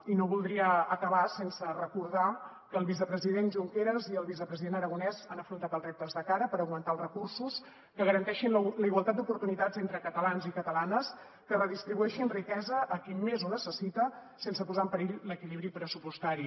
i no voldria acabar sense recordar que el vicepresident junqueras i el vicepresident aragonès han afrontat els reptes de cara per augmentar els recursos que garanteixin la igualtat d’oportunitats entre catalans i catalanes que redistribueixin riquesa a qui més ho necessita sense posar en perill l’equilibri pressupostari